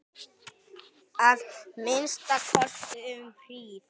Að minnsta kosti um hríð.